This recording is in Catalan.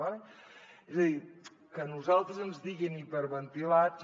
d’acord és a dir que a nosaltres ens diguin hiperventilats